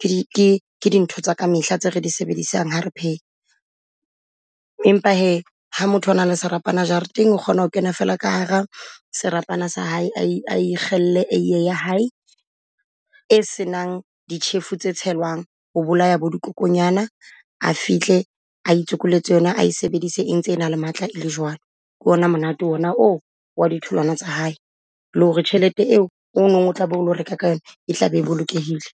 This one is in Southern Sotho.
ke di ke ke dintho tsaka mehla tse re di sebedisang ha re . Empa hee ha motho a na le serapana jareteng, o kgona ho kena fela ka hara serapana sa hae a e, a e kgelle eiye ya hae e senang ditjhefo tse tshelwang ho bolaya bo dikokonyana. A fihle a itsokoletse yona a e sebedise e ntse e na le matla e le jwalo. Ke o na monate o na oo wa ditholwana tsa hae, le ho re tjhelete eo o nong o tlabe o lo reka ka yona e tlabe e bolokehile.